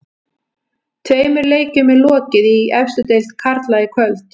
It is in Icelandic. Tveimur leikjum er lokið í efstu deild karla í kvöld.